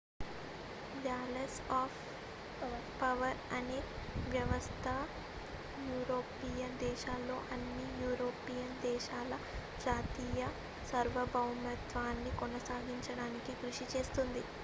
balance of power అనే వ్యవస్థ European దేశాల్లో అన్ని యూరోపియన్ దేశాల జాతీయ సార్వభౌమత్వాన్ని కొనసాగించడానికి కృషి చేస్తుంది